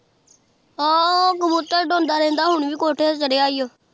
ਹਾਂ ਕਬੂਤਰ ਉਡਾਉਂਦਾ ਰਹਿੰਦਾ ਹੁਣ ਵੀ ਕੋਠੇ ਤੇ ਚੜਿਆ ਈ ਓ